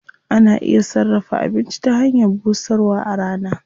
Ana iya sarrafa abinci ta hanyar busarwa a rana.